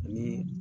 Ni